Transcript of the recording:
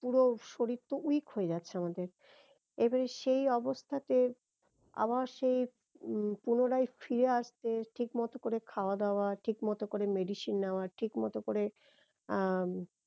পুরো শরীর তো weak হয়ে যাচ্ছে আমাদের এবারে সেই অবস্থাতে আবার সেই হম পূনরায় ফিরে আসতে ঠিক মতো করে খাওয়া দাওয়া ঠিক মতো করে medicine নেওয়া ঠিক মতো করে আহ